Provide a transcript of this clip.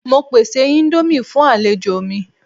Mo pese indomie fun alejo mi